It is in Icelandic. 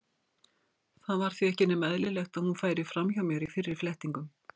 Það var því ekki nema eðlilegt að hún færi fram hjá mér í fyrri flettingum.